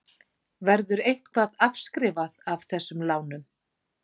Verður eitthvað afskrifað af þessum lánum?